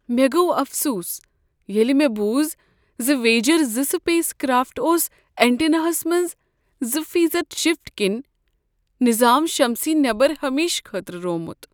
مےٚ گوٚو افسوس ییٚلہ مےٚ بوٗز زِ واییجر زٕ سپیس کرافٹ اوس اینٹینا ہس منٛز زٕ فیصد شفٹ کِنہِ نظام شمسی نیبر ہمیشہٕ خٲطرٕ روومت